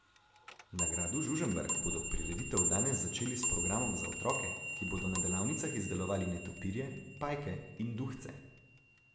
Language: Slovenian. Na gradu Žužemberk bodo prireditev danes začeli s programom za otroke, ki bodo na delavnicah izdelovali netopirje, pajke in duhce.